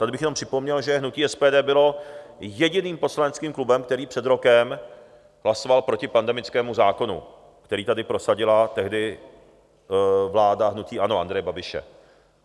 Tady bych jenom připomněl, že hnutí SPD bylo jediným poslaneckým klubem, který před rokem hlasoval proti pandemickému zákonu, který tady prosadila tehdy vláda hnutí ANO Andreje Babiše.